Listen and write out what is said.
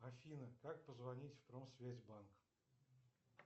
афина как позвонить в промсвязьбанк